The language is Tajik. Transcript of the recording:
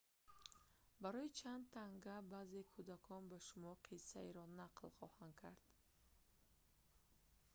барои чанд танга финландӣ баъзе кӯдакон ба шумо қиссаеро нақл хоҳанд кард